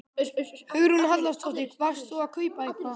Hugrún Halldórsdóttir: Varst þú að kaupa eitthvað?